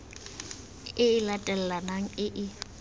e e latelanang e e